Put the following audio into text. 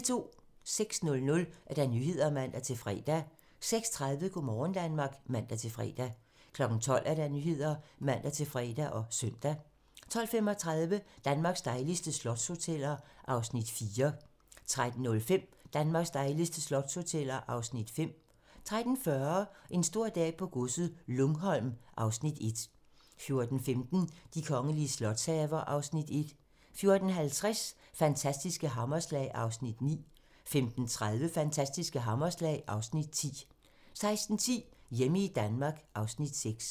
06:00: Nyhederne (man-fre) 06:30: Go' morgen Danmark (man-fre) 12:00: Nyhederne (man-fre og søn) 12:35: Danmarks dejligste slotshoteller (Afs. 4) 13:05: Danmarks dejligste slotshoteller (Afs. 5) 13:40: En stor dag på godset - Lungholm (Afs. 1) 14:15: De kongelige slotshaver (Afs. 1) 14:50: Fantastiske hammerslag (Afs. 9) 15:30: Fantastiske hammerslag (Afs. 10) 16:10: Hjemme i Danmark (Afs. 6)